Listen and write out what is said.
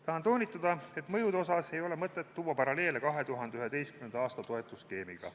Tahan toonitada et mõjude puhul ei ole mõtet tuua paralleele 2011. aasta toetusskeemiga.